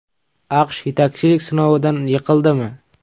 AQSh yetakchilik sinovidan yiqildimi?